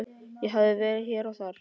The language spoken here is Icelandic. Ég hef verið hér og þar.